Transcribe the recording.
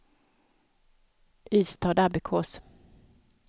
Ystadabbekås